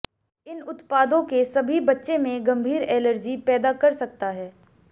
इन उत्पादों के सभी बच्चे में गंभीर एलर्जी पैदा कर सकता है